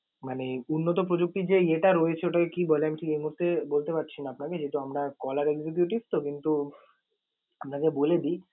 মানে উন্নত প্রযুক্তির যে ইয়েটা রয়েছে ওটাকে কি বলে আমি এই মুহূর্তে বলতে পারছি না আপনাকে যেহেতু আমরা caller executive কিন্তু আপনাকে বলে দি